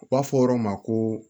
U b'a fɔ yɔrɔ ma ko